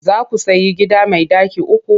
Za ku sayi gida mai ɗaki uku?